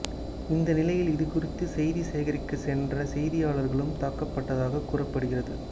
இந்த நிலையில் இதுகுறித்து செய்தி சேகரிக்க சென்ற செய்தியாளர்களும் தாக்கப்பட்டதாக கூறப்படுகிறது